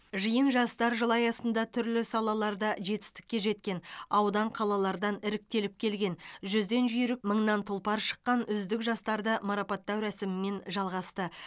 жиын жастар жылы аясында түрлі салаларда жетістікке жеткен аудан қалалардан іріктеліп келген жүзден жүйрік мыңнан тұлпар шыққан үздік жастарды марапаттау рәсімімен жалғасты